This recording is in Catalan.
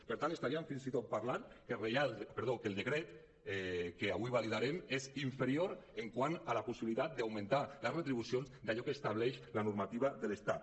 per tant estaríem fins i tot parlant que el decret que avui validarem és inferior quant a la possibilitat d’augmentar les retribucions d’allò que estableix la normativa de l’estat